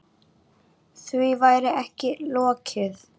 Því væri ekki lokið.